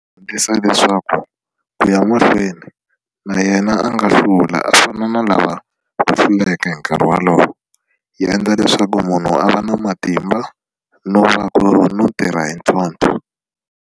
Hundzisa leswaku ku ya mahlweni na yena a nga hlula a fana na lava va hluleke hi nkarhi wolowo yi endla leswaku munhu a va na matimba no tirha hi ntlhontlho.